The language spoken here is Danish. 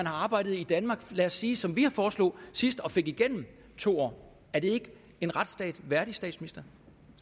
har arbejdet i danmark i lad os sige som vi foreslog sidst og fik igennem to år er det ikke en retsstat værdigt